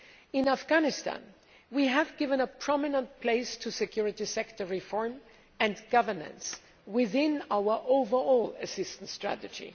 In Afghanistan, we have given a prominent place to security sector reform and governance within our overall assistance strategy.